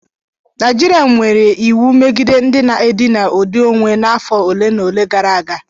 Naijiriya mere iwu megide ndị na-edina ụdị onwe n'afọ ole na ole gara aga.